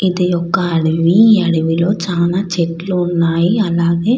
ఇది ఒక అడవి. ఈ అడవి లో చాలా చెట్లు ఉన్నాయి.